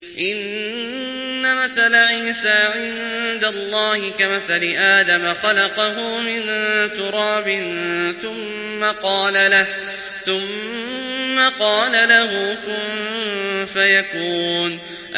إِنَّ مَثَلَ عِيسَىٰ عِندَ اللَّهِ كَمَثَلِ آدَمَ ۖ خَلَقَهُ مِن تُرَابٍ ثُمَّ قَالَ لَهُ كُن فَيَكُونُ